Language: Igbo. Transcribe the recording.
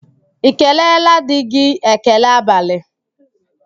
I keleela di gị​ ekele abalị?